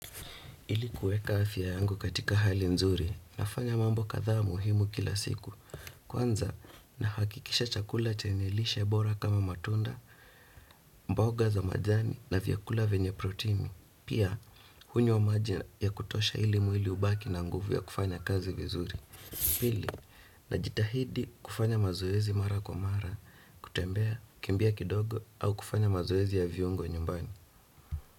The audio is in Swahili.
Ili kueka afya yangu katika hali nzuri, nafanya mambo kadhaa muhimu kila siku. Kwanza, nahakikisha chakula chenye lishe bora kama matunda, mboga za majani na vyakula venye protini. Pia, hunywa maji ya kutosha ili mwili ubaki na nguvu ya kufanya kazi vizuri. Pili, najitahidi kufanya mazoezi mara kwa mara, kutembea kimbia kidogo au kufanya mazoezi ya viungo nyumbani.